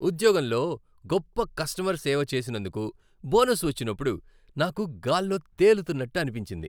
ఉద్యోగంలో గొప్ప కస్టమర్ సేవ చేసినందుకు బోనస్ వచ్చినప్పుడు నాకు గాల్లో తేలుతున్నట్టు అనిపించింది.